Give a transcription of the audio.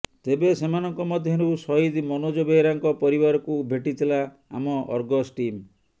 ତେବେ ସେମାନଙ୍କ ମଧ୍ୟରୁ ସହିଦ ମନୋଜ ବେହେରାଙ୍କ ପରିବାରକୁ ଭେଟିଥିଲା ଆମ ଅର୍ଗସ ଟିମ୍